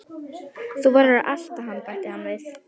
Þú verður að elta hann bætti hann við.